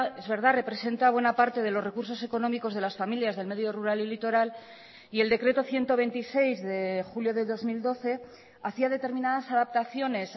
es verdad representa buena parte de los recursos económicos de las familias del medio rural y litoral y el decreto ciento veintiséis de julio de dos mil doce hacía determinadas adaptaciones